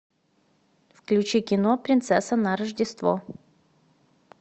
включи кино принцесса на рождество